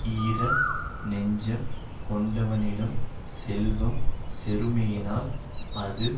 ஈர நெஞ்சம் கொண்டவனிடம் செல்வம் சேருமேயானால் அது